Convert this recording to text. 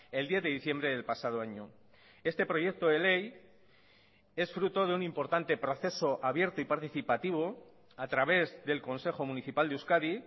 el diez de diciembre del pasado año este proyecto de ley es fruto de un importante proceso abierto y participativo a través del consejo municipal de euskadi